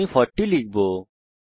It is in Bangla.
আমি 40 লিখবো